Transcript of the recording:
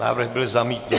Návrh byl zamítnut.